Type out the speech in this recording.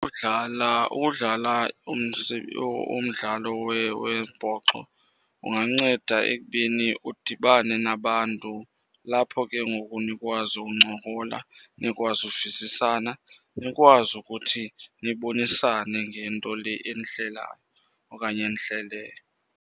Udlala, udlala umdlalo wembhoxo unganceda ekubeni udibane nabantu. Lapho ke ngoku nikwazi uncokola, nikwazi uvisisana, nikwazi ukuthi nibonisane ngento le enihlelayo okanye enihleleyo.